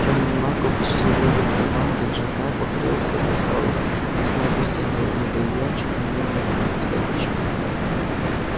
тёмный маг опустил руку в карман пиджака покрылся достал резной костяной медальончик на медной цепочке